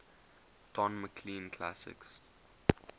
don mclean classics